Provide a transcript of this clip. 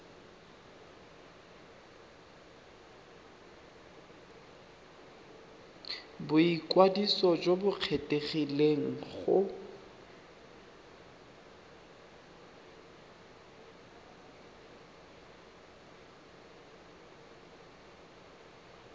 boikwadiso jo bo kgethegileng go